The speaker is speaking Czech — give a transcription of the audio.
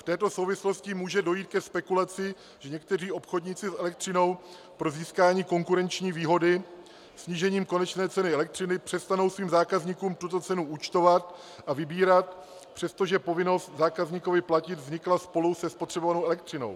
V této souvislosti může dojít ke spekulaci, že někteří obchodníci s elektřinou pro získání konkurenční výhody snížením konečné ceny elektřiny přestanou svým zákazníkům tuto cenu účtovat a vybírat, přestože povinnost zákazníkovi platit vznikla spolu se spotřebovanou elektřinou.